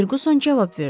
Ferquson cavab verdi.